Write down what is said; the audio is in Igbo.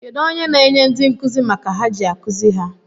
Kedu onye n'enye ndị nkụzi maka ha ji akuzi ha?